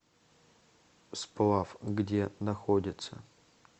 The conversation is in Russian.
сплав где находится